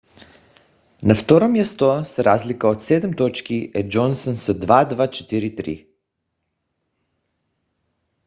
на второ място с разлика от седем точки е джонсън с 2243